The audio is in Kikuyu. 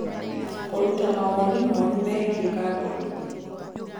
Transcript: kũruta mawoni moru megiĩ kambũni